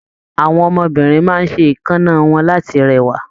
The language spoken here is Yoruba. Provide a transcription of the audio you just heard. Àwọn ọmọbìnrin máa n ṣe èékánná wọn láti rẹwa.